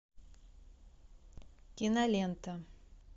кинолента